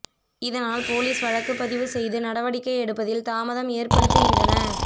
இதனால் போலீஸ் வழக்குப் பதிவு செய்து நடவடிக்கை எடுப்பதில் தாமதம் ஏற்படுத்துகின்றனர்